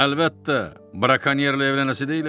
Əlbəttə, brakonyerlə evlənəsi deyiləm ki!